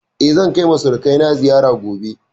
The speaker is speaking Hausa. Eh, zan kai ma surukai na ziyara gobe